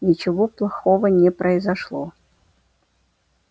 ничего плохого не произошло